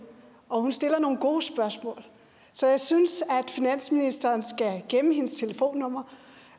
og hun stiller nogle gode spørgsmål så jeg synes at finansministeren skal gemme hendes telefonnummer